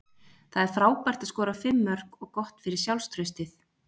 Það er frábært að skora fimm mörk og gott fyrir sjálfstraustið.